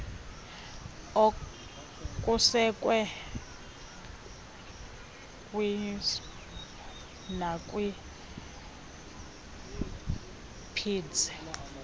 okusekwe kwinsdp nakwipgds